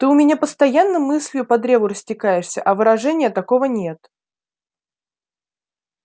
ты у меня постоянно мыслью по древу растекаешься а выражения такого нет